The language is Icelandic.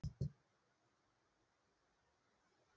Ertu viss um að það sé ekki fyrirhöfn?